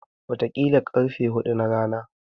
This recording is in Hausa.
Wataƙila ƙarfe huɗu na rana.